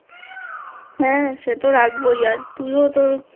হ্যাঁ সেতো রাখবো আর তুই ও